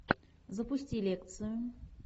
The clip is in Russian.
запусти лекцию